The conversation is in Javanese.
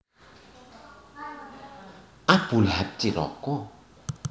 Abu Lahab Cilaka